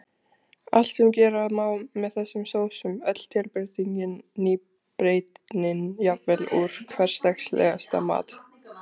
Allt sem gera má með þessum sósum, öll tilbreytingin, nýbreytnin, jafnvel úr hversdagslegasta mat.